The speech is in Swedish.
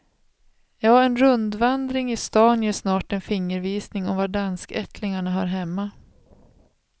Ja, en rundvandring i stan ger snart en fingervisning om var danskättlingarna hör hemma.